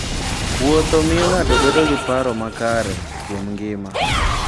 Wuotho miyo ng'ato bedo gi paro makare kuom ngima.